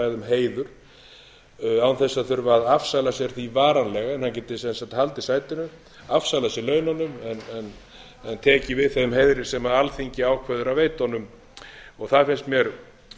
heiður án þess að þurfa að afsala sér því varanlega en hann geti sem sagt haldið sætinu afsalað sér laununum en tekið við þeim heiðri sem alþingi ákveður að veita honum það finnst mér